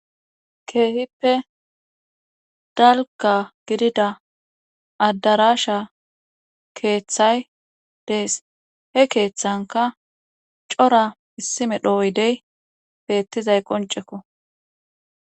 Keehippe dalga gidida addarasha keeththay dees he keeththanka cora issimedho oydey beettizay qoncekko.